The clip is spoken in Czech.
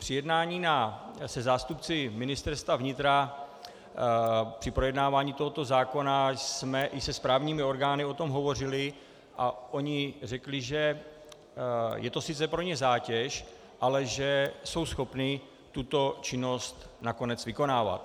Při jednání se zástupci Ministerstva vnitra při projednávání tohoto zákona jsme i se správními orgány o tom hovořili a oni řekli, že je to sice pro ně zátěž, ale že jsou schopni tuto činnost nakonec vykonávat.